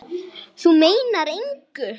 Þú meinar engu!